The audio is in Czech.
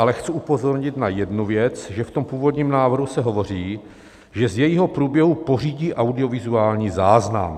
Ale chci upozornit na jednu věc, že v tom původním návrhu se hovoří, že z jejího průběhu pořídí audiovizuální záznam.